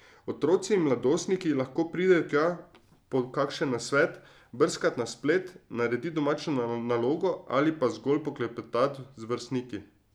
Otroci in mladostniki lahko pridejo tja po kakšen nasvet, brskat na splet, naredit domačo nalogo ali pa zgolj poklepetat z vrstniki.